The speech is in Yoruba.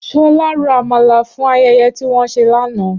Ṣọlá ro Àmàlà fún ayẹyẹ tí wọ́n ṣe lánàá